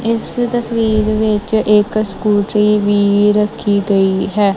ਇਸ ਤਸਵੀਰ ਵਿੱਚ ਇੱਕ ਸਕੂਟਰੀ ਵੀ ਰੱਖੀ ਗਈ ਹੈ।